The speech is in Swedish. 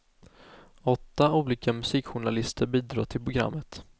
Åtta olika musikjournalister bidrar till programmet.